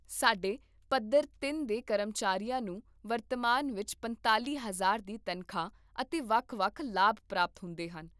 ਸਾਡੇ ਪੱਧਰ ਤਿੰਨ ਦੇ ਕਰਮਚਾਰੀਆਂ ਨੂੰ ਵਰਤਮਾਨ ਵਿੱਚ ਪੰਤਾਲ਼ੀ ਹਜ਼ਾਰ ਦੀ ਤਨਖਾਹ ਅਤੇ ਵੱਖ ਵੱਖ ਲਾਭ ਪ੍ਰਾਪਤ ਹੁੰਦੇ ਹਨ